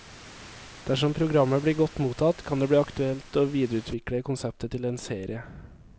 Dersom programmet blir godt mottatt, kan det bli aktuelt å videreutvikle konseptet til en serie.